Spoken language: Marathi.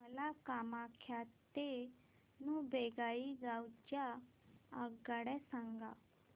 मला कामाख्या ते न्यू बोंगाईगाव च्या आगगाड्या सांगा